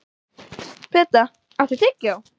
Peta, áttu tyggjó?